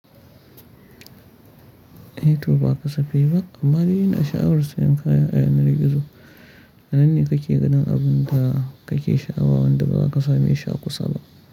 Eto ba kasafai ba, amma ni ina sha'awar sayan kaya a yanar gizo. Nan ne kake ganin abun da kake sha'awa wanda ba ka same shi a kusa ba.